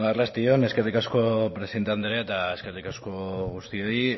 arratsalde on eskerrik asko presidente anderea eta eskerrik asko guztioi